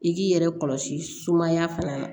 I k'i yɛrɛ kɔlɔsi sumaya fana na